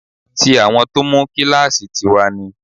Tí àwọn tó mú kíláàsì tì wá ni